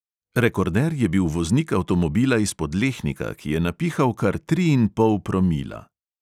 Rekorder je bil voznik avtomobila iz podlehnika, ki je napihal kar tri in pol promila.